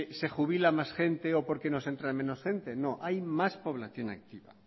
se jubila más gente o porque nos entra menos gente no hay más población activa